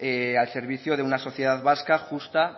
al servicio de una sociedad vasca justa